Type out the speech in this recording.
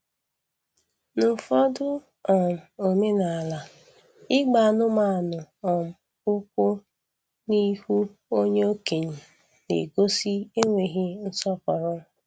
N'ụfọdụ um omenaala, ịgba anụmanụ um ụkwụ n'ihu onye okenye na-egosi enweghị nsọpụrụ